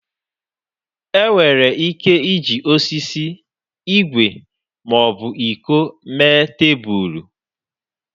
Enwere ike iji osisi, igwe ma ọ bụ iko mee tebụl.